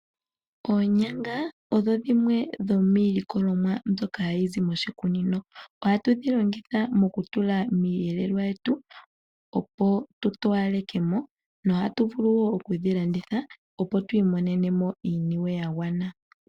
Oonyanga odho dhimwe dhomiilikolomwa mbyoka hayi zi moshikunino . Ohatu dhi longitha mokutula miiyelelwa yetu opo tutowaleke mo , nohatu vulu woo okudhi landitha opo twiimonenemo iiniwe yagwana.